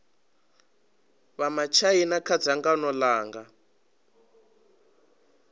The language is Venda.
vha matshaina kha dzangano langa